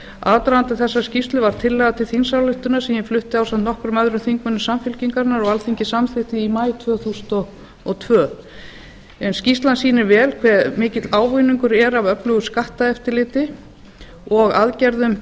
aðdragandi þessarar skýrslu var tillaga til þingsályktunar sem ég flutti ásamt nokkrum öðrum þingmönnum samfylkingarinnar og alþingi samþykkti í maí tvö þúsund og tvö en skýrslan sýnir vel hve mikill ávinningur er að öflugu skatteftirliti og aðgerðum